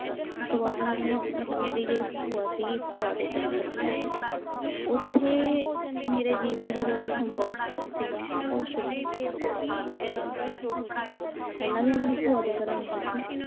ਉਸ ਤੋਂ ਬਾਅਦ ਉਨ੍ਹਾਂ ਨੇ ਮਤਲਬ ਮੇਰੀ ਜਿਹੜੀ ਭੂਆ ਸੀਗੀ ਭੂਆ ਦੇ ਘਰੇ ਛੱਡਿਆ, ਉੱਥੇ ਮੇਰੇ ਜੀਵਨ ਦਾ ਜਿਹੜਾ ਸੰਘਰਸ਼ ਸੀਗਾ ਉਹ ਸ਼ੁਰੂ ਹੁੰਦਾ ਐ ਪਹਿਲਾਂ ਵੀ ਮੈਂ ਆਪਣੀ ਭੂਆ ਦੇ ਘਰੇ ਰਹੀ ਸੀ।